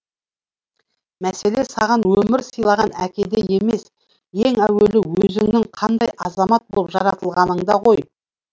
мәселе саған өмір сыйлаған әкеде емес ең әуелі өзіңнің қандай азамат болып жаратылғаныңда ғой